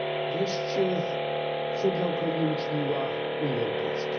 Wreszcie co dla Ukrainy uczyniła Unia Europejska?